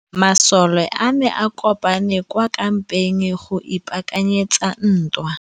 Masole a ne a kopane kwa kampeng go ipaakanyetsa ntwa.